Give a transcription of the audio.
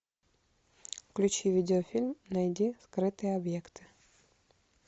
включи видеофильм найди скрытые объекты